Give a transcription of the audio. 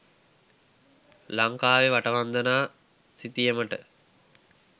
ලංකාවේ වටවන්දනා සිතියමට